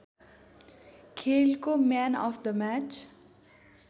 खेलको man of the match